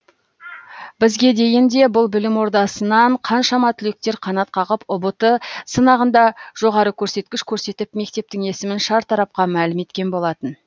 бізге дейін де бұл білім ордасынан қаншама түлектер қанат қағып ұбт сынағында жоғары көрсеткіш көрсетіп мектептің есімін шартарапқа мәлім еткен болатын